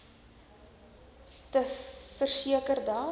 te verseker dat